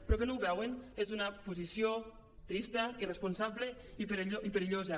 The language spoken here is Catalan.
però que no ho veuen és una posició trista irresponsable i perillosa